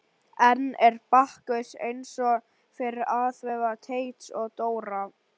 Enn er Bakkus eins og fyrr athvarf Teits og Dóra.